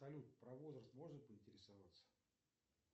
салют про возраст можно поинтересоваться